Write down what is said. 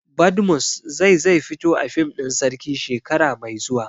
Badmus zai zai fito a fim ɗin Sarki shekara mai zuwa